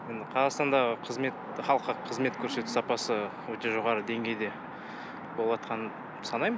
қазақстандағы қызмет халыққа көрсету сапасы өте жоғарғы деңгейде боватқанын санаймын